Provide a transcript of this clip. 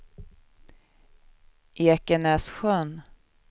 Ekenässjön